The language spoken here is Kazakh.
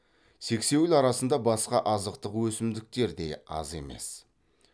сексеуіл арасында басқа азықтық өсімдіктер де аз емес